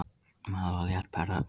Maður var létt pirraður.